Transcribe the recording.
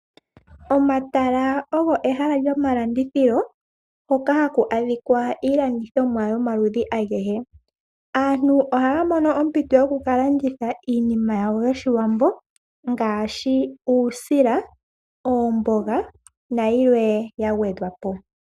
Omatala ogo ehala lyomalandithilo, hoka haku adhika iilandithomwa yomaludhi agehe. Aantu ohaya mono ompito yoku ka landitha iinima yawo yoshiwambo, ngaashi uusila, oomboga, nayilwe ya gwedhwa po.